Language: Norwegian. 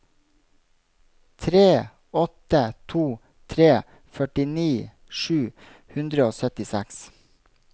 tre åtte to tre førtini sju hundre og syttiseks